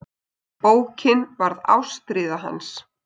Bókin varð ástríða hans.